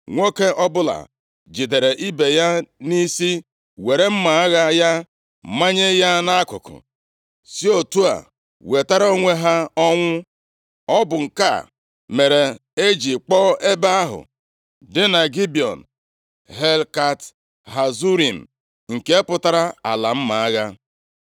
Nwoke ọbụla jidere ibe ya nʼisi were mma agha ya manye ya nʼakụkụ, si otu a wetara onwe ha ọnwụ. Ọ bụ nke a mere e ji kpọọ ebe ahụ dị na Gibiọn, Helkat Hazurim, nke pụtara Ala mma agha.